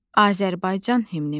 Azərbaycan himnimiz.